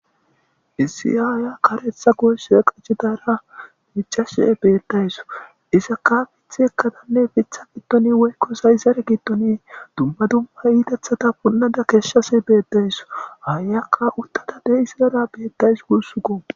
Issi aaya karetha goysoa qachi daara mic'ashe betdays. Isaka fith ekkadanne fitha gitoni woykko sayzare gittoni dumba dumma yiidethata punnada keeshshasi beeddays. Hayakka uttada dei sizara betdays gursuko.